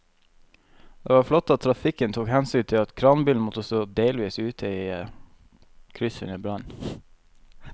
Det var flott at trafikken tok hensyn til at kranbilen måtte stå delvis ute i krysset under brannen.